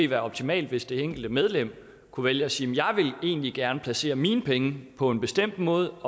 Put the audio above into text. være optimalt hvis det enkelte medlem kunne vælge at sige jeg vil egentlig gerne vælge at placere mine penge på en bestemt måde